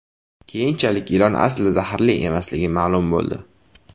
Keyinchalik ilon aslida zaharli emasligi ma’lum bo‘ldi.